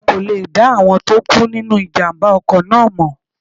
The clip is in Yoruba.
A kò lè dá àwọn tó kú nínu ìjàmbá ọkọ̀ náà mọ̀